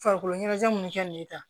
Farikolo ɲɛnajɛ munnu kɛ nin ye tan